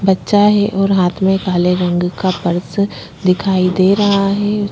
बच्चा है और हाथ में काले रंग का पर्स दिखाई दे रहा है।